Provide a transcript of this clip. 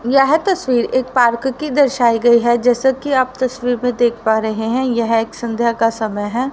यह तस्वीर एक पार्क की दर्शाइ गई है जैसा कि आप तस्वीर में देख पा रहे हैं यह एक संध्या का समय है।